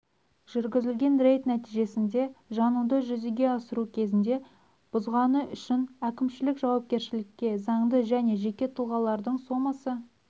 жүргізілген рейд нәтижесінде жануды жүзеге асыру кезінде бұзғаны үшін әкімшілік жауапкершілікке заңды және жеке тұлғалардың сомасы